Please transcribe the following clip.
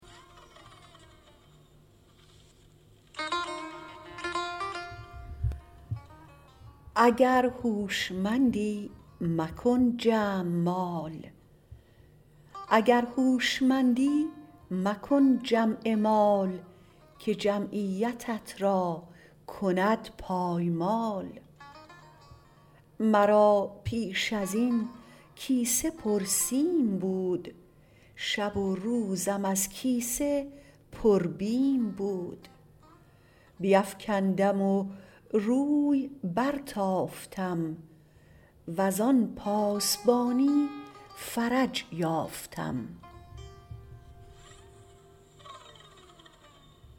اگر هوشمندی مکن جمع مال که جمعیتت را کند پایمال مرا پیش ازین کیسه پر سیم بود شب و روزم از کیسه پر بیم بود بیفکندم و روی برتافتم وزان پاسبانی فرج یافتم